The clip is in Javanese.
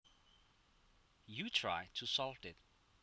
you try to solve it